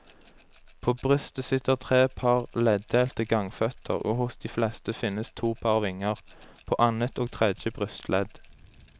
På brystet sitter tre par leddelte gangføtter og hos de fleste finnes to par vinger, på annet og tredje brystledd.